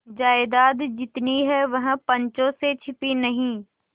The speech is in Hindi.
जायदाद जितनी है वह पंचों से छिपी नहीं